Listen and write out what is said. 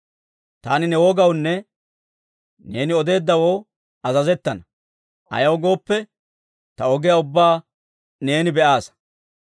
Taani ne wogawunne neeni odeeddawoo azazettana; ayaw gooppe, ta ogiyaa ubbaa neeni be'aasa.